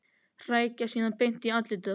Hrækja síðan beint í andlitið á henni.